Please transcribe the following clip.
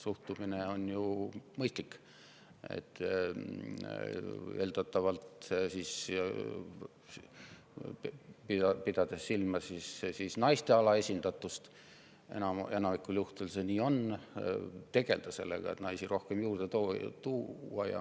Suhtumine on ju mõistlik: eeldatavalt naiste alaesindatust silmas pidades – enamikul juhtudel see nii on – tegeleda sellega, et naisi juurde tuua.